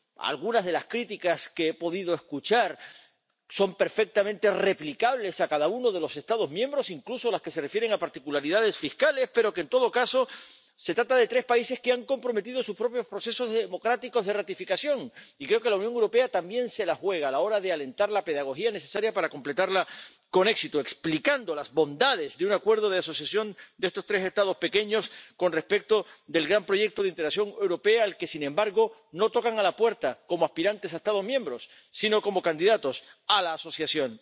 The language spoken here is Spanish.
Algunas de las críticas que he podido escuchar son perfectamente replicables a cada uno de los Estados miembros, incluso las que se refieren a particularidades fiscales, pero, en todo caso, se trata de tres países que han comprometido sus propios procesos democráticos de ratificación y creo que la Unión Europea también se la juega a la hora de alentar la pedagogía necesaria para completarla con éxito, explicando las bondades de un Acuerdo de Asociación de estos tres Estados pequeños con respecto del gran proyecto de integración europea, al que, sin embargo, no tocan a la puerta como aspirantes a Estados miembros sino como candidatos a la asociación.